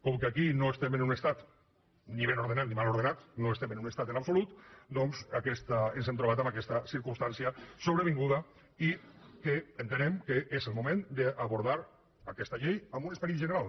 com que aquí no estem en un estat ni ben ordenat ni mal ordenat no estem en un estat en absolut doncs ens hem trobat amb aquesta circumstància sobrevinguda i entenem que és el moment d’abordar aquesta llei amb un esperit general